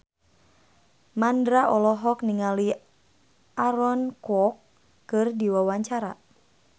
Mandra olohok ningali Aaron Kwok keur diwawancara